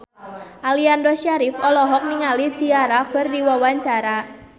Aliando Syarif olohok ningali Ciara keur diwawancara